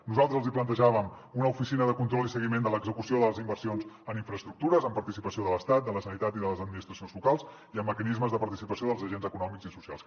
nosaltres els hi plantejàvem una oficina de control i seguiment de l’execució de les inversions en infraestructures amb participació de l’estat de la generalitat i de les administracions locals i amb mecanismes de participació dels agents econòmics i socials